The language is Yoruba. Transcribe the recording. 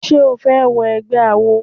Ṣé o fẹ́ wọ egbẹ́ awo?